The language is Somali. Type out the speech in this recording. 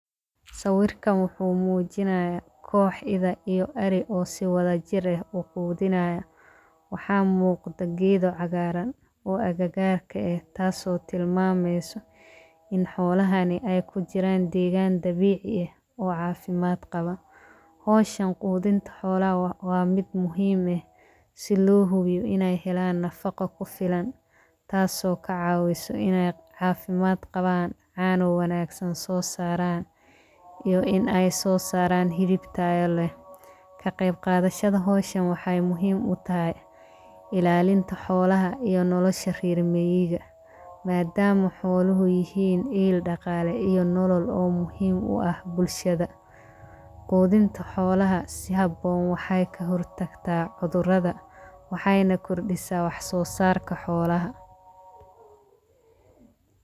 Saawirka maxkumuujinaya koox ida iyo ari oo si wada jirey u kuudinaya. Waxaa muuqda giido cagaaran oo agagaarka ah taasoo tilmaameysu in xoolahani ay ku jiraan deegaan dabiic iyo caafimaad qaban. Hooshan quudinta xoolaha waa mid muhiim ah si luubiyu inay helaan nafaqo ku filan taasoo ka caawiso inay caafimaad qabaan caano wanaagsan soo saaraan iyo inay soo saaraan hidib taal loo. Ka qeyb qaadeshada hooshan waxay muhiim u tahay ilaalinta xoolaha iyo nolosha riirmayiga. Maadaama xooluhu yihiin iil dhaqaale iyo nolol oo muhiim u ah bulshada, quudinta xoolaha si haboon waxay ka hurtagtaa cudurrada. Waxayna ku dhisa wax soosaarka xoolaha.